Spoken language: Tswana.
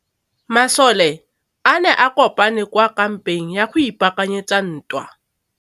Masole a ne a kopane kwa kampeng go ipaakanyetsa ntwa.